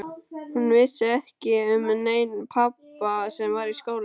Hún vissi ekki um neinn pabba sem var í skóla.